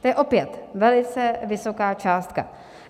To je opět velice vysoká částka.